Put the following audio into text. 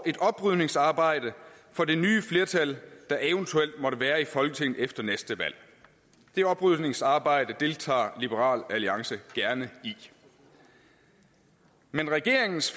et oprydningsarbejde for det nye flertal der eventuelt måtte være i folketinget efter næste valg det oprydningsarbejde deltager liberal alliance gerne i men regeringens